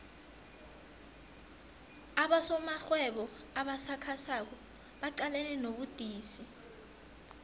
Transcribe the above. abosomarhwebo abasakhasako baqalene nobudisi